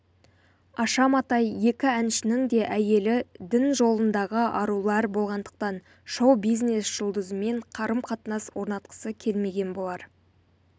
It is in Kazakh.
аша матай екі әншінің де әйелі дін жолындағы арулар болғандықтан шоу-бизнес жұлдызымен қарым-қатынас орнатқысы келмеген болар